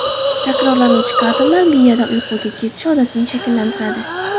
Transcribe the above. Takrorlanuvchi harakatlar miyada uyquga ketish odatini shakllantiradi.